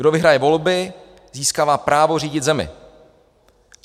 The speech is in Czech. Kdo vyhraje volby, získává právo řídit zemi.